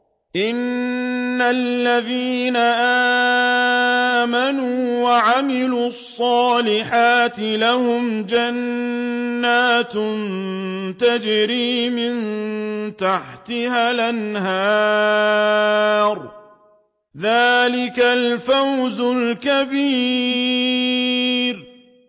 إِنَّ الَّذِينَ آمَنُوا وَعَمِلُوا الصَّالِحَاتِ لَهُمْ جَنَّاتٌ تَجْرِي مِن تَحْتِهَا الْأَنْهَارُ ۚ ذَٰلِكَ الْفَوْزُ الْكَبِيرُ